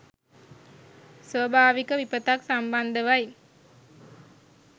ස්වභාවික විපතක් සම්බන්ධවයි.